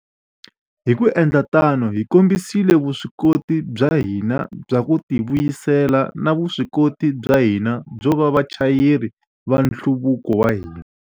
Hi ku endla tano, hi kombisile vuswikoti bya hina bya ku tivuyisela na vuswikoti bya hina byo va vachayeri va nhluvuko wa hina.